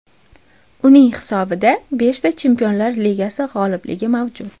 Uning hisobida beshta Chempionlar Ligasi g‘olibligi mavjud.